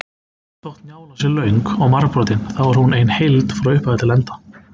Þótt Njála sé löng og margbrotin þá er hún ein heild frá upphafi til enda.